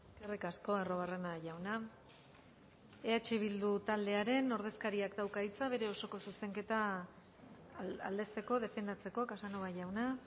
eskerrik asko arruabarrena jauna eh bildu taldearen ordezkariak dauka hitza bere osoko zuzenketa aldezteko defendatzeko casanova jauna